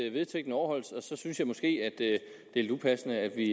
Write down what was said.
at vedtægterne overholdes så synes jeg måske at det er lidt upassende at vi